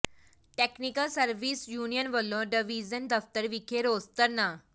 technical service union ਵਲੋਂ division ਦਫ਼ਤਰ ਵਿਖੇ ਰੋਸ ਧਰਨਾ